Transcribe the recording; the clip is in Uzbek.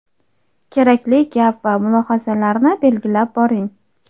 kerakli gap va mulohazalarni belgilab boring.